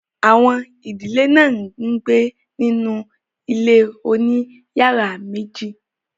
àwọn ìdílé náà ń gbé nínú ilé òní yàrá meji.